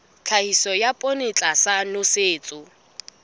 tlhahiso ya poone tlasa nosetso